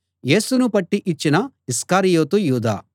యేసును పట్టి ఇచ్చిన ఇస్కరియోతు యూదా